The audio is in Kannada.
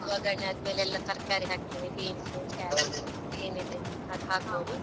ವಗ್ಗರಣೆ ಅದ್ಮೇಲೆ ಎಲ್ಲ ತರ್ಕಾರಿ ಹಾಕ್ತಿನಿ, beans, carrot ಏನ್ ಇದೆ ಅದು .